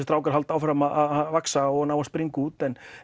strákar haldi áfram að vaxa og og springa út en